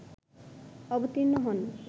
অবতীর্ণ হন